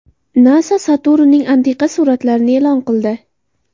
NASA Saturnning antiqa suratlarini e’lon qildi.